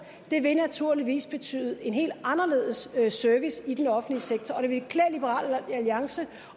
vil naturligvis betyde en helt anderledes service i den offentlige sektor og det ville klæde liberal alliance